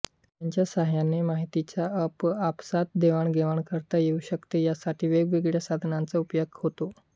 यांच्या सहाय्याने माहितीची आपआपसात देवाणघेवाण करता येऊ शकते यासाठी वेगवेगळ्या साधनाचा उपयोग होतो